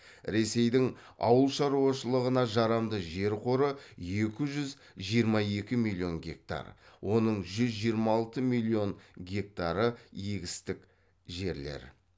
ресейдің ауыл шаруашылығына жарамды жер қоры екі жүз жиырма екі миллион гектар оның жүз жиырма алты миллион гектары егістік жерлер